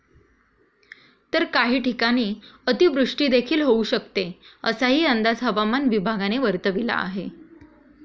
तर काही ठिकाणी अतिवृष्टीदेखील होऊ शकते, असाही अंदाज हवामान विभागाने वर्तविला आहे.